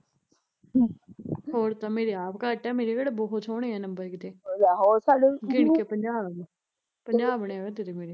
ਹਮ ਹੋਰ ਤਾਂ ਮੇਰੇ ਤਾਂ ਆਪ ਘੱਟ ਐ ਮੇਰੇ ਕਿਹੜੇ ਬਹੁਤ ਸੋਹਣੇ ਐ ਨੰਬਰ ਕਿਤੇ ਗਿਣ ਕੇ ਪੰਜਾਹ ਗੇ ਪੰਜਾਹ ਬਣਿਆ ਕਰਦੇ ਤੇ ਮੇਰੇ